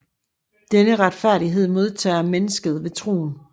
Denne retfærdighed modtager mennesket ved troen